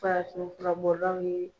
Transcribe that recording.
Farafin fura bɔ law ye